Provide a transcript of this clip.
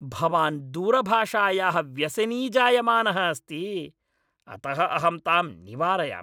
भवान् दूरभाषायाः व्यसनी जायमानः अस्ति, अतः अहं ताम् निवारयामि।